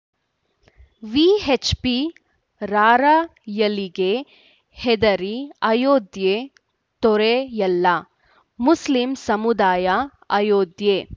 VHP ರಾರ‍ಯಲಿಗೆ ಹೆದರಿ ಅಯೋಧ್ಯೆ ತೊರೆಯಲ್ಲ ಮುಸ್ಲಿಂ ಸಮುದಾಯ ಅಯೋಧ್ಯೆ